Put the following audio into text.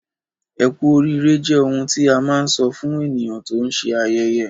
Ẹ́ku oriire jẹ́ oḥun tí à má nsọ̀ fún ènìyàn tó n ṣé ayẹyẹ